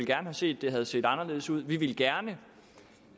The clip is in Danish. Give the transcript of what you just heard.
gerne set det havde set anderledes ud vi ville gerne